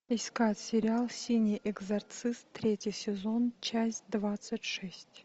искать сериал синий экзорцист третий сезон часть двадцать шесть